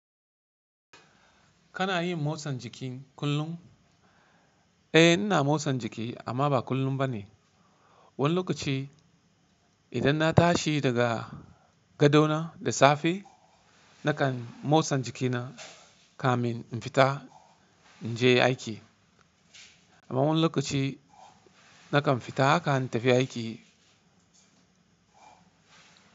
Kana yin motsan jiki kullum? Eh, ina motsan jiki amma ba kullum ba ne. Wani lokaci idan na tashi daga gado na da safe nakan motsa jikina kamin in fita in je aiki. Amma wani lokaci nakan fita haka in tafi aiki.